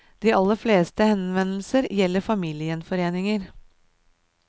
De aller fleste henvendelsene gjelder familiegjenforeninger.